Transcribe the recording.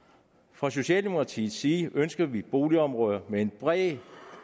fra socialdemokratiets side ønsker vi boligområder med en bred